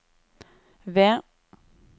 V